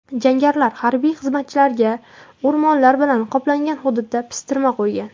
Jangarilar harbiy xizmatchilarga o‘rmonlar bilan qoplangan hududda pistirma qo‘ygan.